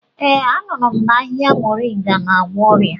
Ee, anuru m na ahịhịa muringa n'agwọ ọrịa.